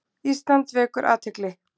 Ísland vekur athygli